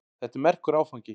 Þetta er merkur áfangi.